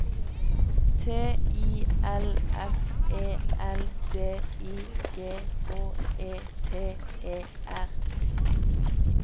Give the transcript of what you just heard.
T I L F E L D I G H E T E R